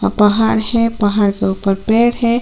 पहाड़ है पहाड़ के ऊपर पेड़ है।